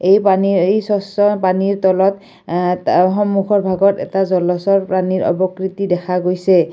এই পানীৰ এই স্বচ্ছ পানীৰ তলত এ সন্মুখৰ ভাগত এটা জলচৰ প্ৰাণীৰ অৱকৃতি দেখা গৈছে।